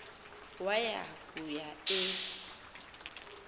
waya kuaa e